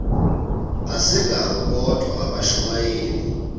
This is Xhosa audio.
asingabo bodwa abashumayeli